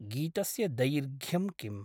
गीतस्य दैर्घ्यम् किम्?